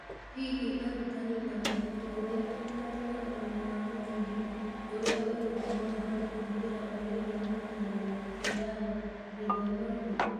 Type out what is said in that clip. Hihi arutani na arutwo aitũ nĩ marĩ na ũmenyo wa mũthingi ũrĩa ũgatũma mahote kũhũthĩra ũũgĩ wa mũhianĩre (AI) gĩthomo-inĩ?